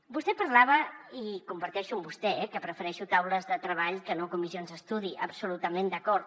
vostè parlava i comparteixo amb vostè que prefereixo taules de treball que no comissions d’estudi absolutament d’acord